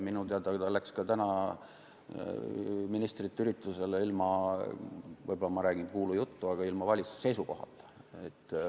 Minu teada läks ta ka täna ministrite üritusele ilma valitsuse seisukohata.